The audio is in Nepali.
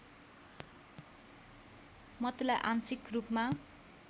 मतलाई आंशिक रूपमा